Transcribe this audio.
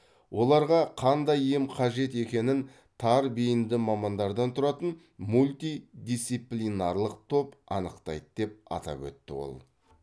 оларға қандай ем қажет екенін тар бейінді мамандардан тұратын мультидисиплинарлық топ анықтайды деп атап өтті ол